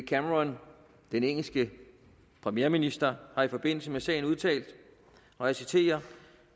cameron den engelske premierminister har i forbindelse med sagen udtalt og jeg citerer